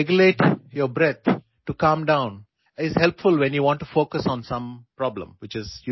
കൂടാതെ ചില പ്രശ്നങ്ങളിൽ ശ്രദ്ധ കേന്ദ്രീകരിക്കാൻ നിങ്ങൾ ആഗ്രഹിക്കുമ്പോൾ നിങ്ങളുടെ ശ്വാസം നിയന്ത്രിക്കാനുള്ള കഴിവ് സഹായകമാകും